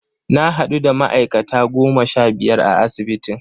Na hadu da ma'aikata goma sha biyar a asibitin.